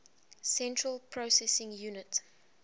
central processing unit